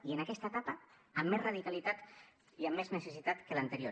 i en aquesta etapa amb més radicalitat i amb més necessitat que l’anterior